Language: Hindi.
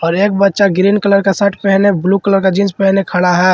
और एक बच्चा ग्रीन कलर का शर्ट पहने ब्लू कलर का जींस पहने खड़ा है।